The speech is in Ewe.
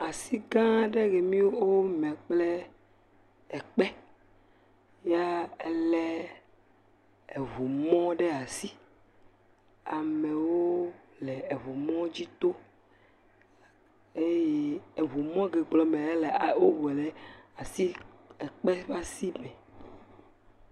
Asi gã ɖe ye mi wome kple ekpe. Ya ele eŋu mɔ ɖe asi. Amewo le eŋu mɔ dzi to eye eŋumɔ ke gblɔm mele ele a wowɔe ɖe asi ekpe ƒe asi me.